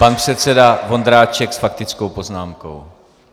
Pan předseda Vondráček s faktickou poznámkou.